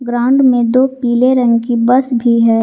Ground में दो पीले रंग की बस भी है।